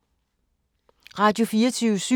Radio24syv